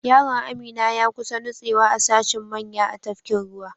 Yaron Amina ya kusa nutsewa a sashin manya a tafkin ruwa.